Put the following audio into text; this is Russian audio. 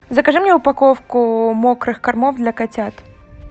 закажи мне упаковку мокрых кормов для котят